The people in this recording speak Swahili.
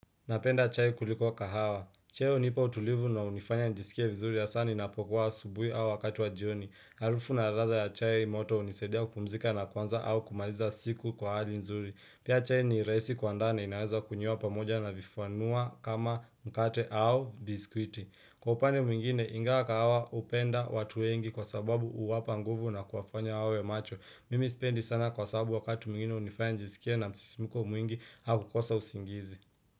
Napenda chai kuliko kahawa. Chai unipa utulivu na unifanya nijisikie vizuri hasa ni na pokua asubui au wakati wa jioni. Harufu na ladha ya chai moto unisaidia kupumzika na kwanza au kumaliza siku kwa hali nzuri. Pia chai ni rahisi kuandaana inaweza kunywea pamoja na vifanua kama mkate au biskuiti. Kwa upande mwingine inga kahawa upenda watuengi kwa sababu uwapa nguvu na kuafanya wawe macho. Mimi spendi sana kwa sababu wakati mwingine unifanya jisikie na msisimiko mwingi au kukosa usingizi.